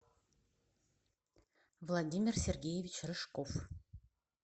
владимир сергеевич рыжков